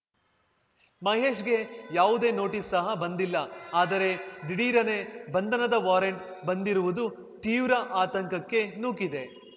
ಮಹೇಶ್‌ಗೆ ಯಾವುದೇ ನೋಟೀಸ್‌ ಸಹ ಬಂದಿಲ್ಲ ಆದರೆ ದಿಢೀರನೇ ಬಂಧನದ ವಾರೆಂಟ್‌ ಬಂದಿರುವುದು ತೀವ್ರ ಆತಂಕಕ್ಕೆ ನೂಕಿದೆ